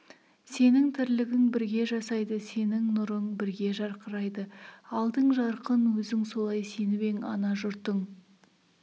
сенің тірлігің бірге жасайды сенің нұрың бірге жарқырайды алдың жарқын өзің солай сеніп ең ана жұртың